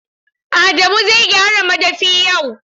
Adamu zai gyara madafi yau.